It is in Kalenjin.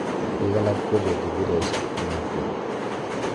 piik alak kopeti kiloishek komatiem